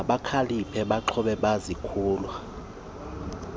mabakhaliphe baaxhobe bazokulwa